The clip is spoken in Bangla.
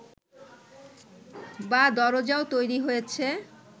বা দরজাও তৈরি হয়েছে